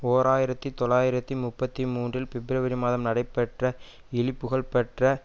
ஓர் ஆயிரத்தி தொள்ளாயிரத்தி முப்பத்தி மூன்றில் பிப்ரவரி மாதம் நடைபெற்ற இழிபுகழ்பெற்ற